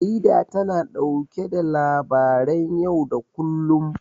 Jarida tana ɗauke da labaran yau da kullum.